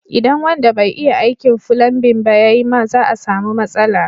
Idan wanda bai iya aikin fulanbin ba ya yi ma za a samu matsala.